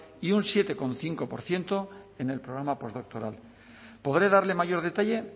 y un siete coma cinco por ciento en el programa posdoctoral podré darle mayor detalle